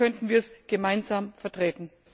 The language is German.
ist. Vielleicht könnten wir es gemeinsam vertreten.